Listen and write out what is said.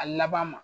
A laban ma